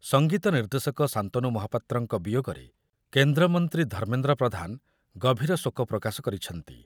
ସଙ୍ଗୀତ ନିର୍ଦ୍ଦେଶକ ଶାନ୍ତନୁ ମହାପାତ୍ରଙ୍କ ବିୟୋଗରେ କେନ୍ଦ୍ର ମନ୍ତ୍ରୀ ଧର୍ମେନ୍ଦ୍ର ପ୍ରଧାନ ଗଭୀର ଶୋକ ପ୍ରକାଶ କରିଛନ୍ତି।